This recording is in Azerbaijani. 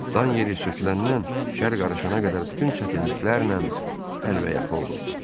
Dan yeri söküləndən şər qarışana qədər bütün çətinliklərlə əlbəyaxa olurdu.